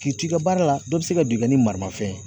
K'i t'i ka baara la dɔ be se ka don i kan ni maramafɛn